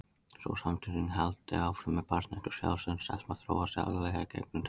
Sú samsömun haldi áfram eftir barnæsku og sjálfsmynd stelpna þróist aðallega í gegnum tengsl.